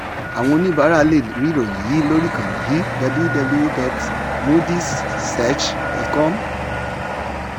àwọn oníbàárà lè rí ìròyìn yìí lórí ìkànnì yìí: https://www.moodysresearch.com